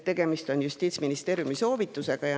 Tegemist on Justiitsministeeriumi soovitusega.